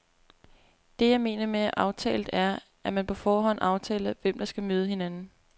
Det, jeg mener med aftalt er, at man på forhånd aftaler, hvem der skal møde hinanden.